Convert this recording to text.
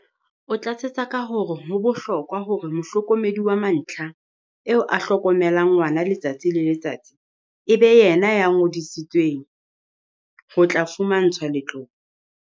O tlatsetsa ka hore ho bohlokwa hore mohlokomedi wa mantlha, eo a hlokomelang ngwana letsatsi le letsatsi, e be yena ya ngodisetsweng ho tla fumantshwa letlole.